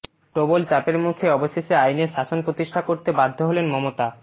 প্রবল চাপের মুখে অবশেষে আইনের শাসন প্রতিষ্ঠা করতে বাধ্য হলেন মমতা